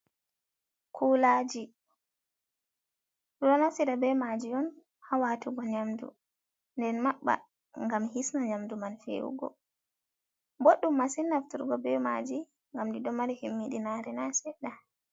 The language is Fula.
Kulaji ɓeɗo naftira be maji on hawatugo nyamdu, nden maɓɓa ngam hisna nyamdu man fewnugo. Boɗɗum masin nafturgo be maji, ngam ɗiɗo mari himmi ɗinare na seɗɗa.